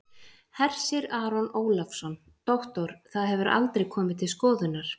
Hersir Aron Ólafsson: Doktor, það hefur aldrei komið til skoðunar?